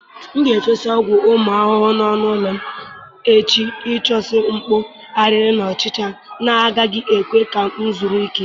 M ga-efesa ọgwụ ụmụ ahụhụ n'ọnụ ụlọ m echi ịchụso mkpụ, ariri na ọchịcha na-agaghị ekwe ka m zuru ike.